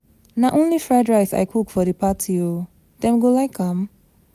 Na only fried rice I cook for the party oo, dem go like am?